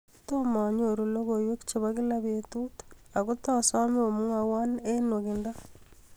Tomo anyor logoiwek chebo kila betut, ako tosome umwowo eng nenwach